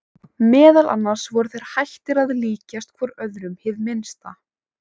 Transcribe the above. Meðal annars voru þeir hættir að líkjast hvor öðrum hið minnsta.